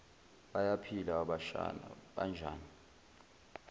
bayaphila abashana banjani